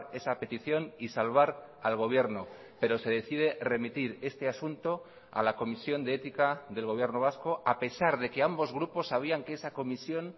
esa petición y salvar al gobierno pero se decide remitir este asunto a la comisión de ética del gobierno vasco a pesar de que ambos grupos sabían que esa comisión